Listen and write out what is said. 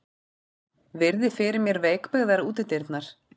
Virði fyrir mér veikbyggðar útidyrnar.